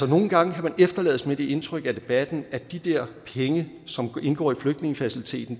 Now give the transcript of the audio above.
nogle gange kan man efterlades med det indtryk af debatten at de der penge som indgår i flygtningefaciliteten